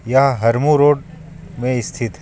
यह हरमो रोड में स्थित है.